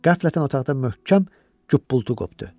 Qəflətən otaqda möhkəm qup-qultu qopdu.